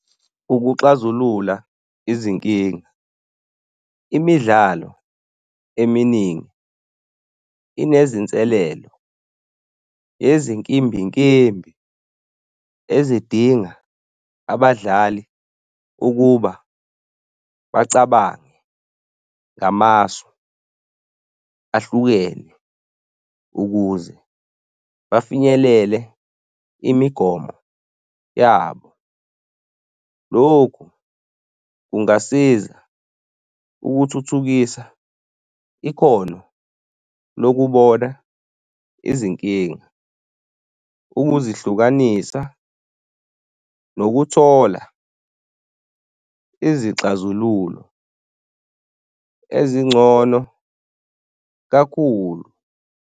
Ukuxazulula izinkinga. Imidlalo eminingi inezinselelo ezinkimbinkimbi ezidinga abadlali ukuba bacabange ngamasu ahlukene ukuze bafinyelele imigomo yabo. Loku kungasiza ukuthuthukisa ikhono lokubona izinkinga, ukuzihlukanisa nokuthola izixazululo ezingcono kakhulu.